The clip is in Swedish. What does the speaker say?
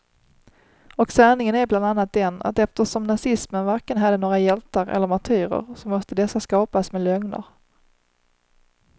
Och sanningen är bland annat den att eftersom nazismen varken hade några hjältar eller martyrer, så måste dessa skapas med lögner.